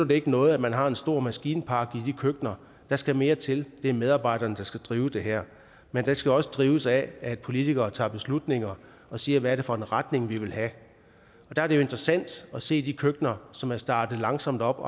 det ikke noget at man har en stor maskinpark i de køkkener der skal mere til det er medarbejderne der skal drive det her men det skal også drives af at politikere tager beslutninger og siger hvad det er for en retning vi vil have og der er det jo interessant at se de køkkener som er startet langsomt op og